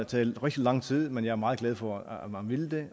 taget rigtig lang tid men jeg er meget glad for at man ville det